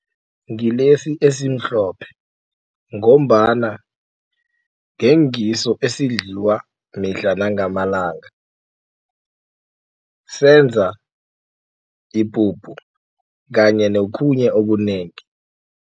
Ngilesi esimhlophe ngombana ngengiso esidliwa mihla nangamalanga. Senza ipuphu kanye nokhunye okunengi.